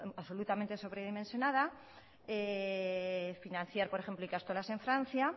absolutamente dimensionada financiar por ejemplo ikastolas en francia